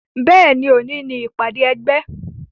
Bẹ́ẹ̀ni, òní ni ìpàdé ẹgbẹ́.